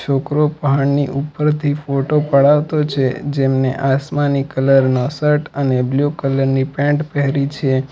છોકરો પહાડની ઉપરથી ફોટો પડાવતો છે જેમને આસમાની કલર નો શર્ટ અને બ્લુ કલર ની પેન્ટ પહેરી છે.